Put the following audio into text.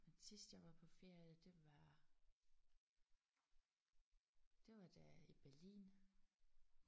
Men sidst jeg var på ferie det var det var der i Berlin